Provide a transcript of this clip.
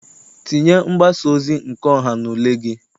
Tinye mgbasaozi nke ọha n'ule gị!